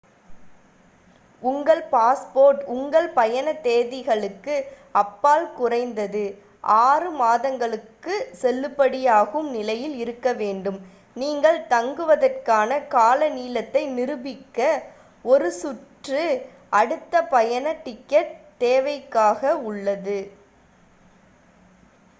உங்கள் பாஸ்போர்ட் உங்கள் பயண தேதிகளுக்கு அப்பால் குறைந்தது 6 மாதங்களுக்குச் செல்லுபடியாகும் நிலையில் இருக்கவேண்டும் நீங்கள் தங்குவதற்கான கால நீளத்தை நிரூபிக்க ஒரு சுற்று / அடுத்த பயண டிக்கெட் தேவையாக உள்ளது